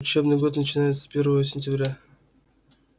учебный год начинается с первого сентября